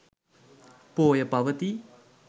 පෝය පවතී.